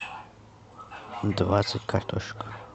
двадцать картошек